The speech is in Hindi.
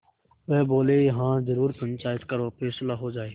वह बोलेहाँ जरूर पंचायत करो फैसला हो जाय